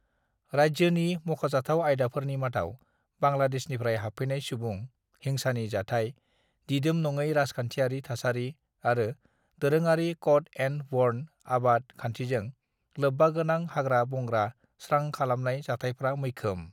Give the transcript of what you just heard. "राज्योनि मख'जाथाव आयदाफोरनि मादाव बांग्लादेशनिफ्राय हाबफैनाय सुबुं, हिंसानि जाथाय, दिदोम नङै राजखान्थियारि थासारि आरो दोरोङारि कट-एंड-बर्न आबाद खान्थिजों लोब्बागोनां हाग्रा-बंग्रा स्रां खालामनाय जाथायफ्रा मैखोम।"